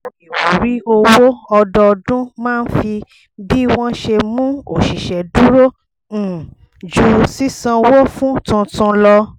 ètò ìwúrí owó ọdọọdún máa ń fi bí wọ́n ṣe mú òṣìṣẹ́ dúró um ju sísanwó fún tuntun lọ